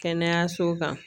Kɛnɛyasow kan